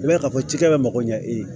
I b'a ye k'a fɔ cikɛ bɛ mago ɲɛ e ye